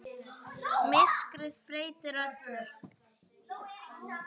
Myrkrið breytir öllu.